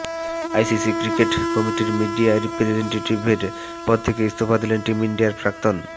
ICC cricket কমিটির media রিপ্রেজেন্টেটিভের পদ থেকে ইস্তফা দিলেন টিম ইন্ডিয়ার প্রাক্তন